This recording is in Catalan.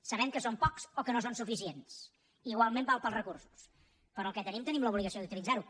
sabem que són pocs o que no són suficients igualment val per als recursos però el que tenim tenim l’obligació de utilitzarho